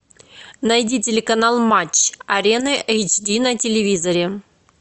найди телеканал матч арена эйч ди на телевизоре